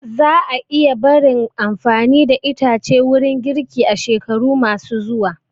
Za a iya barin amfani da itace wurin girki a shekaru ma su zuwa